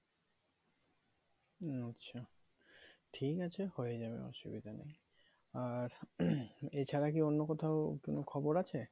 আচ্ছা ঠিক আছে হয়ে যাবে অসুবিধা নেই আর এছাড়া কি অন্য কোথাও কোনো খবর আছে